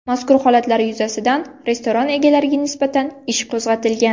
Mazkur holatlar yuzasidan restoran egalariga nisbatan ish qo‘zg‘atilgan.